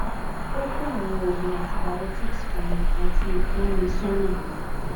o ko awọn ogun antibiotics fun mi ati ranmi sona